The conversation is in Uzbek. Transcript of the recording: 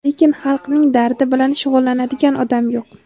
lekin xalqning dardi bilan shug‘ullanadigan odam yo‘q.